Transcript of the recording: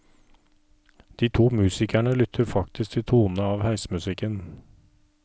De to musikerne lytter faktisk til tonene av heismusikken.